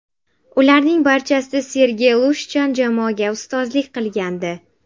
Ularning barchasida Sergey Lushchan jamoaga ustozlik qilgandi.